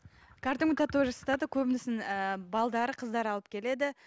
кәдімгі татуаж жасатады көбісін ы қыздары алып келеді